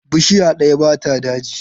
Bishiya ɗaya ba ta daji.